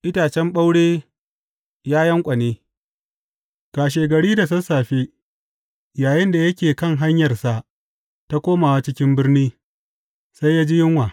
Itacen ɓaure ya yanƙwane Kashegari da sassafe, yayinda yake kan hanyarsa ta komawa cikin birni, sai ya ji yunwa.